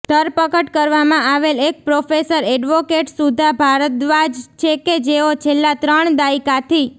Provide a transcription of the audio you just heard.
ધરપકડ કરવામાં આવેલ એક પ્રોફેસર એડવોકેટ સુધા ભારદ્વાજ છે કે જેઓ છેલ્લા ત્રણ દાયકાથી